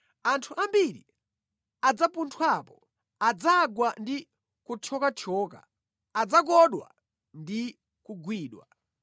Anthu ambiri adzapunthwapo adzagwa ndi kuthyokathyoka, adzakodwa ndi kugwidwa.”